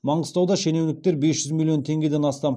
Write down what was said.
маңғыстауда шенеуніктер бес жүз миллион теңгеден астам